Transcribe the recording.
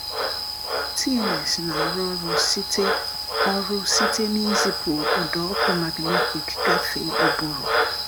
TMS na-arụ ọrụ site ọrụ site n’izipu ụda ọkụ magnetik gafee ụbụrụ.